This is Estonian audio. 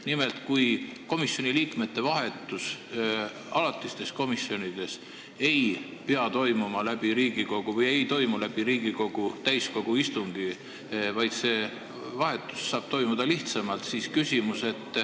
Nimelt, komisjoni liikmete vahetus alatistes komisjonides ei pea käima läbi Riigikogu täiskogu, vaid see saab toimuda lihtsamalt.